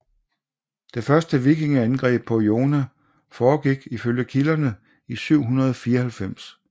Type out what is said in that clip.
Det første vikingeangreb på Iona forgik ifølge kilderne i 794